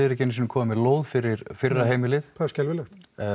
ekki einu sinni komin með lóð fyrir fyrra heimilið það er skelfilegt